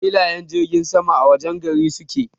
Filayen jirgin sama a wajen gari suke.